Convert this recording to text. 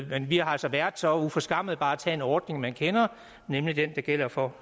vi har altså været så uforskammede bare at tage en ordning man kender nemlig den der gælder for